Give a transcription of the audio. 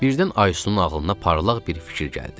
Birdən Aysunun ağlına parlaq bir fikir gəldi.